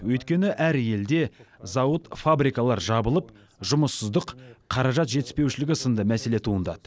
өйткені әр елде зауыт фабрикалар жабылып жұмыссыздық қаражат жетіспеушілігі сынды мәселе туындады